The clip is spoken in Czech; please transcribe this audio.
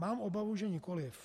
Mám obavu, že nikoliv.